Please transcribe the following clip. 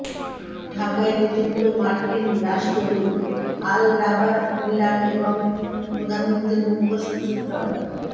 ঢাকায় নিযুক্ত মার্কিন রাষ্ট্রদূত আর্ল রবার্ট মিলার এবং প্রধানমন্ত্রীর মুখ্য সচিব ড